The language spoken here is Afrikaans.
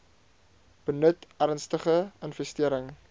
benut ernstige infestering